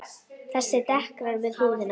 Þessi dekrar við húðina.